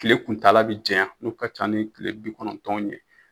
Tile kuntaala bi janya n'u ka ca ni kile bi kɔnɔntɔn ye.